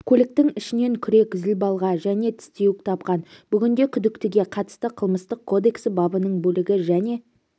көліктің ішінен күрек зілбалға және тістеуік тапқан бүгінде күдіктіге қатысты қылмыстық кодексі бабының бөлігі және